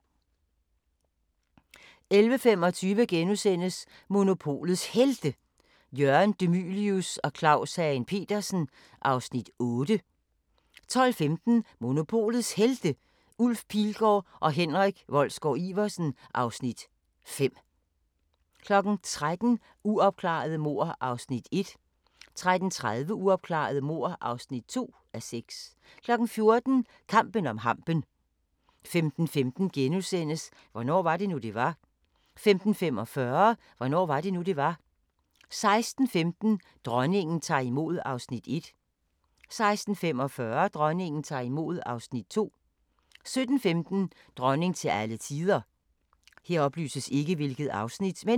11:25: Monopolets Helte – Jørgen De Mylius og Claus Hagen Petersen (Afs. 8)* 12:15: Monopolets Helte – Ulf Pilgaard og Henrik Wolsgaard-Iversen (Afs. 5) 13:00: Uopklarede mord (1:6) 13:30: Uopklarede mord (2:6) 14:00: Kampen om hampen 15:15: Hvornår var det nu, det var? * 15:45: Hvornår var det nu, det var? 16:15: Dronningen tager imod (Afs. 1) 16:45: Dronningen tager imod (Afs. 2) 17:15: Dronning til alle tider